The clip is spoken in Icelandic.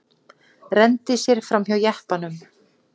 Renndi sér framhjá jeppanum.